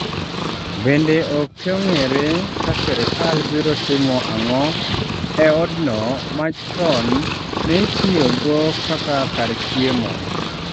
Bende okong'ere ka sirkal biro timo ang'o e od no ma chon neitiyogo kaka kar chiemo